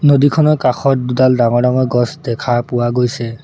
নদীখনৰ কাষত দুডাল ডাঙৰ ডাঙৰ গছ দেখা পোৱা গৈছে।